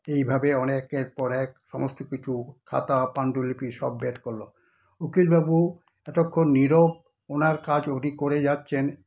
এইভাবে একের পর এক সমস্তকিছু খাতা পাণ্ডুলিপি সব বের করলো। উকিলবাবু এতক্ষণ নীরব, ওনার কাজ উনি করে যাচ্ছেন